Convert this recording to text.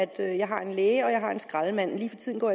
det at jeg har en læge og jeg har en skraldemand men lige for tiden går